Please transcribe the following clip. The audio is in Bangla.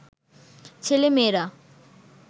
ছেলে-মেয়েরা